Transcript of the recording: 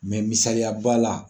misaliya ba' la.